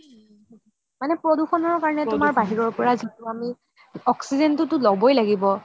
মানে প্ৰদূষণৰ কাৰণে তুমান বাহিৰৰ পৰা যিতো আমি oxygen তো তো ল'বয়ে লাগিব